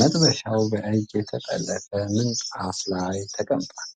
መጥበሻው በእጅ የተጠለፈ ምንጣፍ ላይ ተቀምጧል።